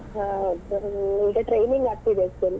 ಹಾ ಈಗ training ಆಗ್ತಾ ಇದೆ full .